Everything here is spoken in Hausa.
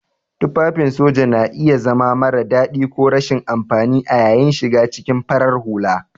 Tufafin soja na iya zama mara dadi ko rashin amfani a yayin shiga cikin farar hula.